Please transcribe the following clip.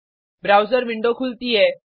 browser window खुलती है